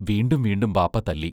വീണ്ടും വീണ്ടും ബാപ്പാ തല്ലി